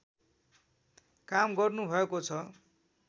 काम गर्नुभएको छ